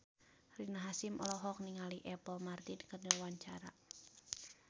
Rina Hasyim olohok ningali Apple Martin keur diwawancara